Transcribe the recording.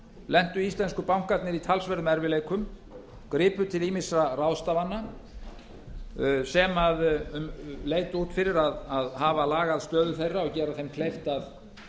lentu íslensku bankarnir í talsverðum erfiðleikum gripu til ýmissa ráðstafana sem leit út fyrir að hafa lagað stöðu þeirra og gera þeim kleift að